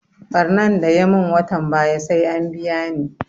Ɓarnan da ya mun watan baya sai an biya ni